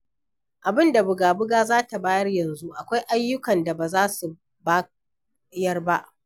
Abin da buga-buga za ta bayar yanzu akwai ayyukan da ba za su bayar ba.